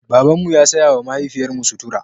Babanmu ya saya wa mahaifiyarmu sutura.